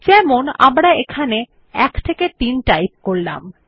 যেমন আমরা এখানে 1 3 টাইপ করলাম